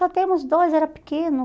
Só temos dois, era pequeno.